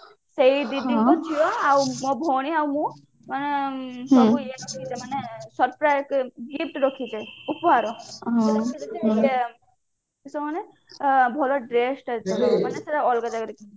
ସେଇ ଦିଦିଙ୍କ ଝିଅ ମୋ ଭଉଣୀ ଆଉ ମୁ ମାନେ surprise gift ରଖିଚେ ଉପହାର